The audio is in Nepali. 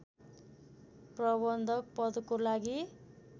प्रबन्धक पदको लागि